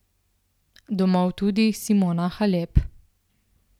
Domov tudi Simona Halep.